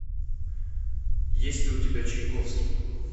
есть ли у тебя чайковский